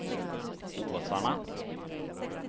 Åsarna